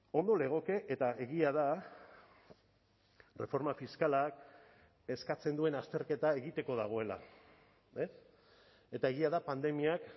ondo legoke eta egia da erreforma fiskalak eskatzen duen azterketa egiteko dagoela eta egia da pandemiak